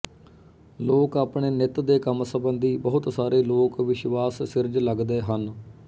ਲੋਕ ਆਪਣੇ ਨਿੱਤ ਦੇ ਕੰਮ ਸੰਬੰਧੀ ਬਹੁਤ ਸਾਰੇ ਲੋਕ ਵਿਸ਼ਵਾਸ ਸਿਰਜ ਲਗਦੈ ਹਨ